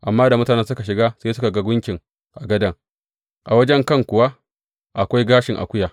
Amma da mutanen suka shiga sai suka ga gunkin a gadon, a wajen kan kuwa akwai gashin akuya.